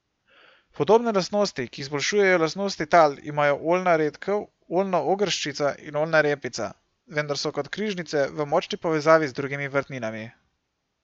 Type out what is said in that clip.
Podobne lastnosti, ki izboljšujejo lastnosti tal, imajo oljna redkev, oljna ogrščica in oljna repica, vendar so kot križnice v močni povezavi z drugimi vrtninami.